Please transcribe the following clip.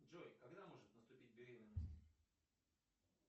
джой когда может наступить беременность